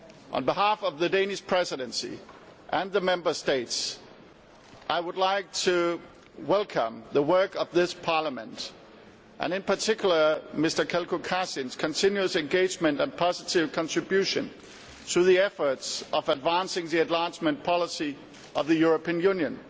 On behalf of the Danish Presidency and the Member States, I would like to welcome the work of this Parliament, and in particular Mr Jelko Kacin's continuous commitment and positive contribution to the endeavour of advancing the enlargement policy of the European Union.